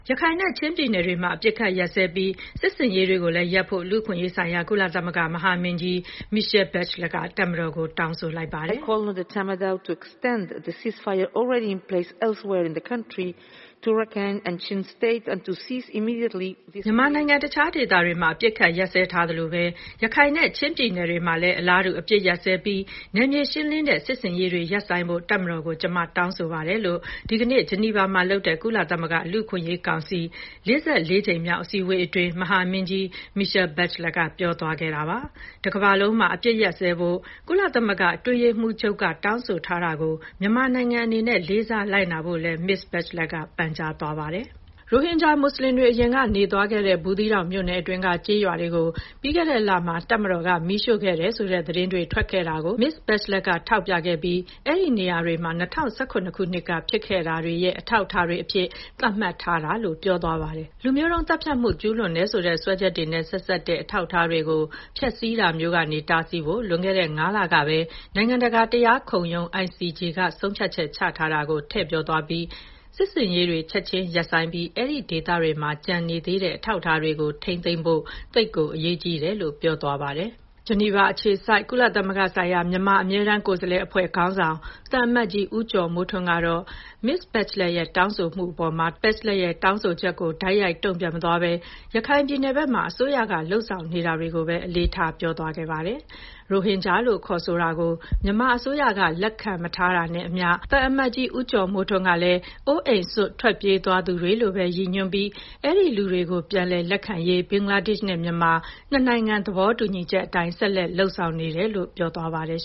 ရခိုင်နဲ့ ချင်းပြည်နယ်တွေမှာ အပစ်အခတ်ရပ်စဲပြီး စစ်ဆင်ရေးတွေကိုလည်းရပ်ဖို့ လူ့အခွင့်အရေးဆိုင်ရာ ကုလသမဂ္ဂ မဟာမင်းကြီး Michelle Bachelet က တပ်မတော်ကို တောင်းဆိုလိုက်ပါတယ်။ “မြန်မာနိုင်ငံ တခြားဒေသတွေမှာ အပစ်အခတ်ရပ်စဲထားသလိုပဲ ရခိုင်နဲ့ချင်းပြည်နယ် တွေမှာလည်း အလားတူ အပစ်အခတ်ရပ်စဲပြီး နယ်မြေရှင်းလင်းတဲ့ စစ်ဆင်ရေးတွေကိုရပ်ဆိုင်းဖို့ တပ်မတော်ကို ကျမ တောင်းဆိုပါတယ်။” လို့ ဒီကနေ့ ဂျီနီဗာမှာလုပ်တဲ့ ကုလသမဂ္ဂ လူ့အခွင့်အရေးကောင်စီ ၄၄ ကြိမ်မြောက် အစည်းအဝေးအတွင်း မဟာမင်းကြီး Michelle Bachelet က ပြောသွားတာပါ။ တကမ္ဘာလုံးမှာ အပစ်အခတ်ရပ်စဲဖို့ ကုလသမဂ္ဂ အတွင်းရေးမှူးချုပ်က တောင်းဆိုထားတာကို မြန်မာနိုင်ငံအနေနဲ့ လေးစားလိုက်နာဖို့လည်း မစ္စ Bachelet က ပန်ကြားသွားပါတယ်။ ရိုဟင်ဂျာမွတ်ဆလင်တွေ အရင်က နေထိုင်သွားခဲ့တဲ့ ဘူးသီးတောင်မြို့နယ်တွင်းက ကျေးရွာတွေကို ပြီးခဲ့တဲ့လမှာ တပ်မတော်က မီးရှို့ခဲ့တယ်ဆိုတဲ့သတင်းတွေ ထွက်ခဲ့တာကို မစ္စ Bachelet က ထောက်ပြပြီး အဲဒီနေရာတွေဟာ ၂၀၁၇ ခုနှစ်က ဖြစ်ပျက်ခဲ့တာတွေရဲ့ အထောက်အထားတွေအဖြစ် သတ်မှတ်ထားတာဖြစ်တယ်လို့ ပြောသွားပါတယ်။ လူမျိုးတုံးသတ်ဖြတ်မှု ကျူးလွန်ခဲ့တယ်ဆိုတဲ့ စွပ်စွဲချက်တွေနဲ့ဆက်စပ်တဲ့ အထောက်အထားတွေကို ဖျက်ဆီးတာမျိုးကနေ တားဆီးဖို့ လွန်ခဲ့တဲ့ ၅ လကပဲ နိုင်ငံတကာတရားခုံရုံး ICJ က ဆုံးဖြတ်ချက်ချထားတာကို ထည့်ပြောသွားပြီး စစ်ဆင်ရေးတွေကို ချက်ခြင်းရပ်ဆိုင်းပြီးတော့ အဲဒီဒေသတွေမှာ ကျန်ရှိနေသေးတဲ့ အထောက်အထားတွေကို ထိန်းသိမ်းဖို့ သိပ်ကို အရေးကြီးပါတယ် လို့ပြောသွားပါတယ်။ ဂျီနီဗာအခြေစိုက် ကုလသမဂ္ဂဆိုင်ရာ မြန်မာအမြဲတမ်းကိုယ်စားလှယ်အဖွဲ့ခေါင်းဆောင် သံအမတ်ကြီး ဦးကျော်မိုးထွန်းကတော့ မစ္စ Bachelet ရဲ့ တောင်းဆိုချက်အပေါ် တိုက်ရိုက်တုံ့ပြန်မသွားဘဲ ရခိုင်ပြည်နယ်ဘက်မှာ အစိုးရက လုပ်ဆောင်နေတာတွေကိုပဲ အလေးထားပြောသွားပါတယ်။ ရိုဟင်ဂျာလို့ခေါ်ဆိုတာကို မြန်မာအစိုးရက လက်ခံမထားတာနဲ့အမ ျှ သံအမတ်ကြီးဦးကျော်မိုးထွန်းကလည်း အိုးအိမ်စွန့် ထွက်ပြေးသွားသူတွေလို့ပဲ ရည်ညွှန်းပြီး ဒီလူတွေကို ပြန်လည်လက်ခံရေး ဘင်္ဂလားဒေ့ရှ်နဲ့ မြန်မာ နှစ်နိုင်ငံသဘောတူညီချက်အတိုင်း ဆက်လက်လုပ်ဆောင်နေတယ်လို့ ပြောသွားပါတယ်